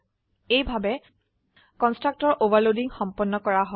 এইভাবে constructor overloading সম্পন্ন কৰা হয়